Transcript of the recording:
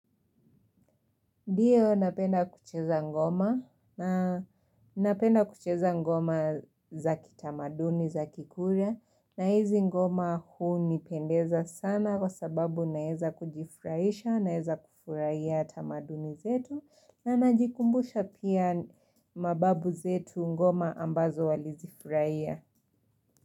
Ndiyo napenda kucheza ngoma na napenda kucheza ngoma za kitamaduni zaki kuria na hizi ngoma huu nipendeza sana kwa sababu naeza kujifurahisha naeza kufurahia tamaduni zetu na najikumbusha pia mababu zetu ngoma ambazo walizifurahia.